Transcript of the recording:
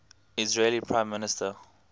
israeli prime minister